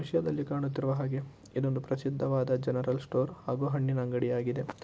ಈ ದೃಶ್ಯದಲ್ಲಿ ಕಾಣುತ್ತಿರುವ ಹಾಗೆ ಇದೊಂದು ಪ್ರಸಿದ್ಧವಾದ ಜನರಲ್ ಸ್ಟೋರ್ ಹಾಗು ಹಣ್ಣಿನ ಅಂಗಡಿಯಾಗಿದೆ.